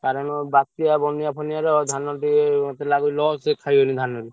କାରଣ ବାତ୍ୟା ବନ୍ୟା ଫନ୍ୟା ହେଲେ ଧାନ ଟିକେ ମତେ ଲାଗି loss ରେ ଖାଇଗଲି ଧାନରେ।